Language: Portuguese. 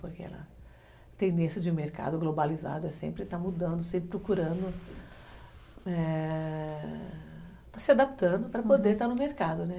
Porque a tendência de um mercado globalizado é sempre estar mudando, sempre procurando, é... se adaptando para poder estar no mercado, né?